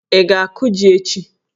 ị ga-akụ jí echi?